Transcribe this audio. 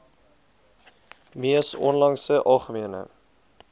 mees onlangse algemene